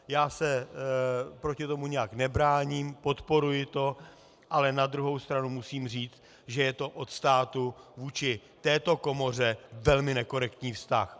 Já se proti tomu nijak nebráním, podporuji to, ale na druhou stranu musím říct, že je to od státu vůči této komoře velmi nekorektní vztah.